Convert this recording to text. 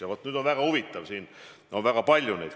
Ja vaat, nüüd on väga huvitav, et neid eelnõusid oli palju.